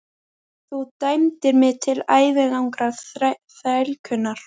Þú dæmdir mig til ævilangrar þrælkunar!